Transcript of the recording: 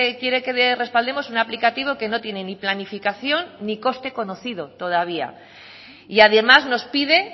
quiere que respaldemos un aplicativo que no tiene ni planificación ni coste conocido todavía y además nos pide